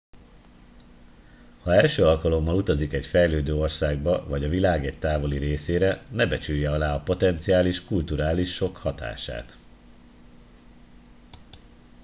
ha első alkalommal utazik egy fejlődő országba vagy a világ egy távoli részére ne becsülje alá a potenciális kulturális sokk hatását